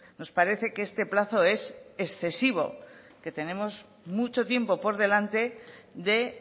nos parece que este plazo es excesivo que tenemos mucho tiempo por delante de